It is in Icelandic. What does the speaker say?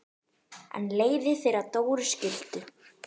En leiðir þeirra Dóru skildu.